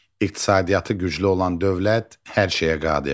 İqtisadiyyatı güclü olan dövlət hər şeyə qadirdir.